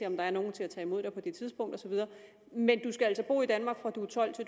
om der er nogen til at tage imod dig på det tidspunkt og så videre men du skal altså bo i danmark fra du er tolv år